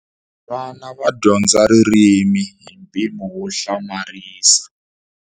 Vana va dyondza ririmi hi mpimo wo hlamarisa.